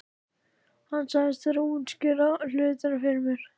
Hann sagðist þurfa að útskýra hlutina fyrir mér.